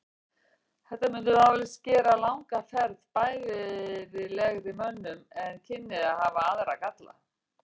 Þetta mundi vafalítið gera langa ferð bærilegri mönnum en kynni að hafa aðra galla.